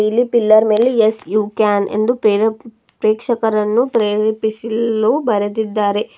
ಇಲ್ಲಿ ಪಿಲ್ಲರ್ ಮೇಲೆ yes you can ಎಂದು ಪೇರಾ ಪ್ರೇಕ್ಷಕರನ್ನು ಪ್ರೇರೇಪಿಸಿಲು ಬರೆದಿದ್ದಾರೆ.